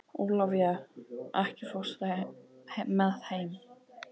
Ólafía, ekki fórstu með þeim?